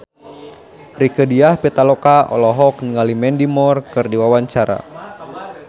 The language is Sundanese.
Rieke Diah Pitaloka olohok ningali Mandy Moore keur diwawancara